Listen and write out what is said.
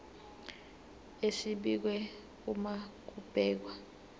esibekiwe uma kubhekwa